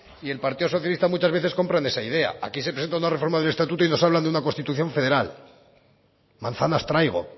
y el partido socialista muchas veces compran esa idea aquí se presenta una reforma del estatuto y nos hablan de una constitución federal manzanas traigo